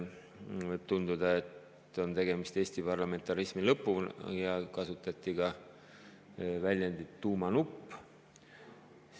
Võib tunduda, et tegemist on Eesti parlamentarismi lõpuga, ja kasutati ka väljendit "tuumanupp".